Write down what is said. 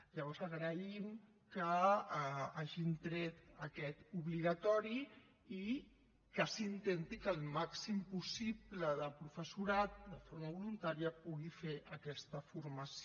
llavors agraïm que hagin tret aquest obligatori i que s’intenti que el màxim possible de professorat de forma voluntària pugui fer aquesta formació